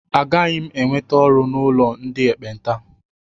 Agaghị m enweta ọrụ n'ụlọ ndị ekpenta.